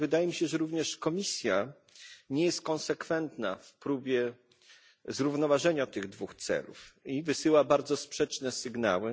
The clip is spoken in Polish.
Ale wydaje mi się, że również Komisja nie jest konsekwentna w próbie zrównoważenia tych dwóch celów i wysyła bardzo sprzeczne sygnały.